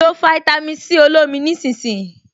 Lo fáítámì Sí olómi nísinsìnyí